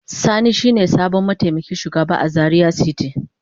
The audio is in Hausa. Sani shine sabon mataimakin shugaba a Zaria city.